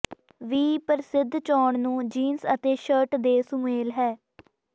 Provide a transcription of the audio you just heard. ਵੀ ਪ੍ਰਸਿੱਧ ਚੋਣ ਨੂੰ ਜੀਨਸ ਅਤੇ ਸ਼ਰਟ ਦੇ ਸੁਮੇਲ ਹੈ